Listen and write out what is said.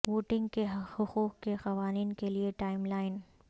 voting کے حقوق کے قوانین کے لئے ٹائم لائن